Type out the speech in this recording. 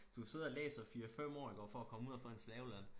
Du sidder og læser 4 5 år iggå for at komme ud og få en slaveløn